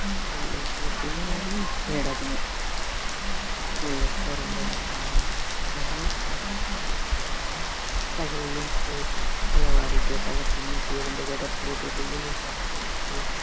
school life எப்பையுமே யாரும் miss பண்ணிடாதீங்க school life தான் ரொம்ப முக்கியம்ங்க ஏன்னா காலையில எழுந்திருச்சுட்டு தலை வாரிட்டு தலை பின்னிட்டு இரண்டு ஜடை போட்டுட்டு uniform போட்டுக்கிட்டு